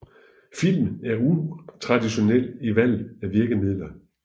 Filmen er utraditionel i valget af virkemidler